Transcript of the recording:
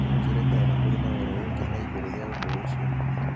mũnjĩĩre kana nĩ kũrĩ ũhoro ũngĩ na igũrũ rĩa ũndũ ũcio